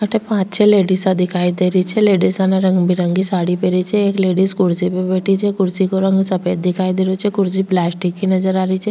अठे पांच छः लेडीसा दिखाई दे रही छे लेडिसा ने रंग बिरंगी साड़ी पहनी छे एक लेडिस कुर्सी पे बैठी च कुर्सी का रंग सफ़ेद दिखाई दे रो छे कुर्सी पलास्टिक की नजर आरी छे।